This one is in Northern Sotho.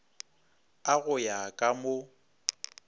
a go ya ka mo